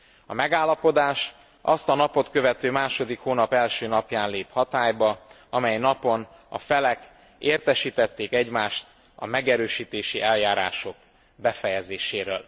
A megállapodás azt a napot követő második hónap első napján lép hatályba, amely napon a felek értesítették egymást a megerősítési eljárások befejezéséről.